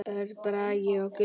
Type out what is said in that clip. Örn Bragi og Guðný.